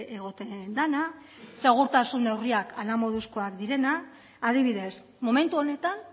egoten dena segurtasun neurriak hala moduzkoak direnak adibidez momentu honetan